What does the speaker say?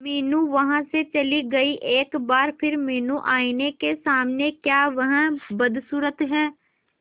मीनू वहां से चली गई एक बार फिर मीनू आईने के सामने क्या वह बदसूरत है